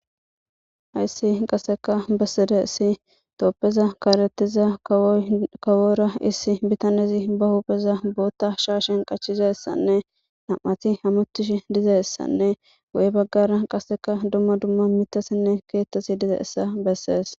hayssi qaseka bessedaysi tophiya kaalethiza kawora issi bitanezi ba huupheza bootta shaashen qachizassanne nam7ati hamutish diza ssanne wo7e baggara qaseka dumma dumma mitasinne keettasi diza issa bessees